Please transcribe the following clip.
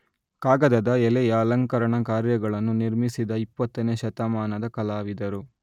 ಕಾಗದದ ಎಲೆಯ ಅಲಂಕರಣ ಕಾರ್ಯಗಳನ್ನು ನಿರ್ಮಿಸಿದ ಇಪ್ಪತ್ತನೇ ಶತಮಾದ ಕಲಾವಿದರು